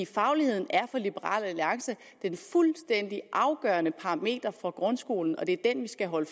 fagligheden er for liberal alliance det fuldstændig afgørende parameter for grundskolen og det er den vi skal holde